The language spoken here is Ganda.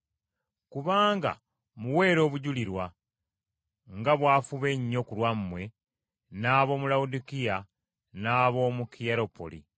Kubanga mmuweera obujulirwa, nga bw’afuba ennyo ku lwammwe, n’ab’omu Lawodikiya, n’ab’omu Kiyerapoli.